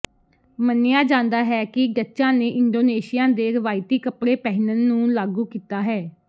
ਮੰਨਿਆ ਜਾਂਦਾ ਹੈ ਕਿ ਡੱਚਾਂ ਨੇ ਇੰਡੋਨੇਸ਼ੀਆ ਦੇ ਰਵਾਇਤੀ ਕਪੜੇ ਪਹਿਨਣ ਨੂੰ ਲਾਗੂ ਕੀਤਾ ਹੈ